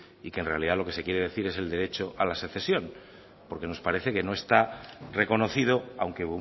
y que en realidad lo que se quiere decir es el derecho a la secesión porque nos parece que no está reconocido aunque